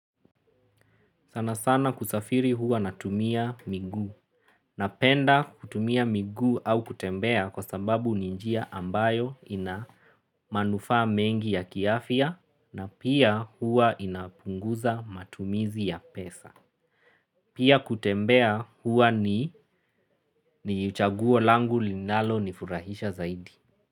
Sana sana kusafiri huwa natumia miguu napenda kutumia miguu au kutembea kwa sababu ni njia ambayo ina manufaa mengi ya kiafya na pia huwa inapunguza matumizi ya pesa. Pia kutembea huwa ni chaguo langu linalo nifurahisha zaidi.